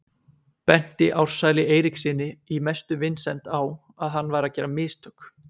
Benti Ársæli Eiríkssyni í mestu vinsemd á að hann væri að gera mistök.